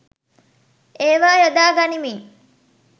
ඒවා යොදා ගනිමින්